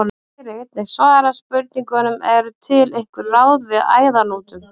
Hér er einnig svarað spurningunum: Eru til einhver ráð við æðahnútum?